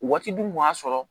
Waati dun kun y'a sɔrɔ